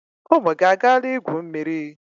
Ụmụ gị agaala igwu mmiri?